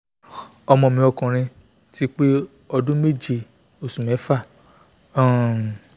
ọmọ mi ọkùnrin ti pé ọmọ ọdún méje oṣù mẹ́fà um